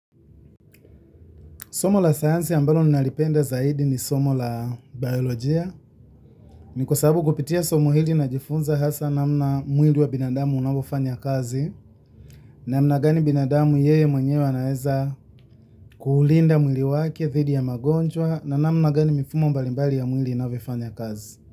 Somo la sayansi ambalo nalipenda zaidi ni somo la bayolojia ni kwa sababu kupitia somo hili najifunza hasa namna mwili wa binadamu unavyofanya kazi, namna gani binadamu yeye mwenyewe anaeza kuulinda mwili wake, dhidi ya magonjwa, na namna gani mifumo mbalimbali ya mwili inavyofanya kazi.